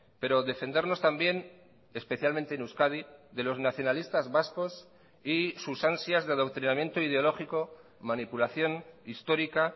pero defendernos también especialmente en euskadi de los nacionalistas vascos y sus ansias de adoctrinamiento ideológico manipulación histórica